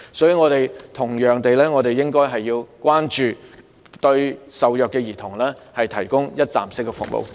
所以，我們同樣應該關注受虐兒童，為他們提供一站式服務。